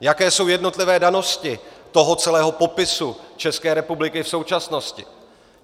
Jaké jsou jednotlivé danosti toho celého popisu České republiky v současnosti.